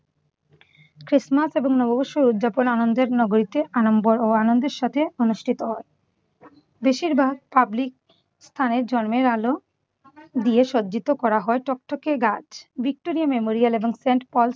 Christmas ও নববর্ষে উদযাপন আনন্দের নগরীতে আড়ম্বর ও আনন্দের সাথে অনুষ্ঠিত হয়। বেশিরভাগ public স্থানে জন্মের আলো দিয়ে সজ্জিত করা হয় টকটকে গাছ। ভিক্টোরিয়া মেমোরিয়াল ও সেন্ট পল